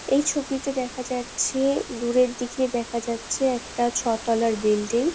এই ছবিতে দেখা যাচ্ছে দূরের দিকে দেখা যাচ্ছে। একটা ছতালার বিল্ডিং ।